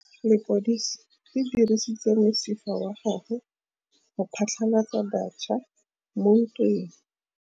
Lepodisa le dirisitse mosifa wa gagwe go phatlalatsa batšha mo ntweng.